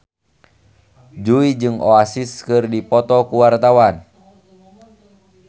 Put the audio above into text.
Jui jeung Oasis keur dipoto ku wartawan